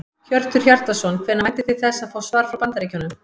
Hjörtur Hjartarson: Hvenær væntið þið þess að fá svar frá Bandaríkjunum?